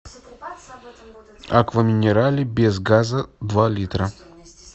аква минерале без газа два литра